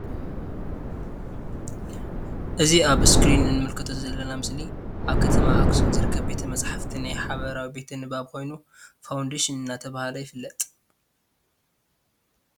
እዚ ኣብ ኣስክሪን እንምልከቶ ዘለና ምስሊ ኣብ ከተማ ኣክሱም ዝርከብ ቤት መጽሓፍቲ ናይ ሓበራዊ ቤተ ንባብ ኮይኑ ፋውንዴሽን እንዳተብሃለ ይፍለጥ።